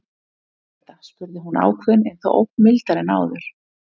Hver er þetta? spurði hún ákveðin en þó ögn mildari en áður.